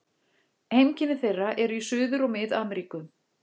Heimkynni þeirra eru í Suður- og Mið-Ameríku.